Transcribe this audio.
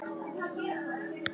Sigur hins góða.